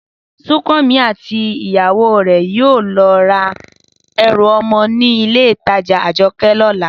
Súnkànmí àti ìyàwó rẹ̀ yóò lọ ra ẹrù ọmọ nínú Ilé-ìtajà Àjọkẹ̀ lọ́la